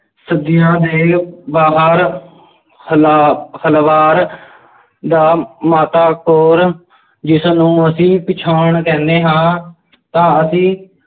ਦੇ ਬਾਹਰ ਹਾਲਾਤ ਹਲਵਾਰ ਦਾ ਮਾਤਾ ਕੌਰ ਜਿਸਨੂੰ ਅਸੀਂ ਕਹਿੰਦੇ ਹਾਂ ਤਾਂ ਅਸੀਂ